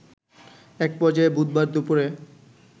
এক পর্যায়ে বুধবার দুপুরে